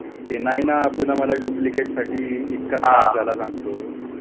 ते नाही ना पुन्हा मला डुप्लीकेटसाठी इतका त्रास झाला सांगत. ते नाही ना पुन्हा मला डुप्लीकेटसाठी इतका त्रास झाला सांगतो.